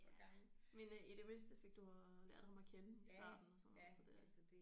Ja men øh i det mindste fik du øh lært ham at kende i starten og sådan noget så det